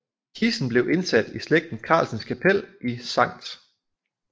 Kisten blev indsat i slægten Carlsens Kapel i Sct